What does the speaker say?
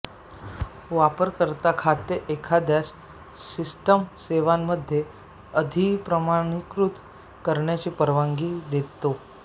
वापरकर्ता खाते एखाद्यास सिस्टम सेवांमध्ये अधिप्रमाणीकृत करण्याची परवानगी देतो